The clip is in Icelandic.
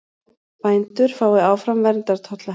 Bændur fái áfram verndartolla